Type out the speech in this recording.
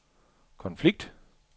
konflikt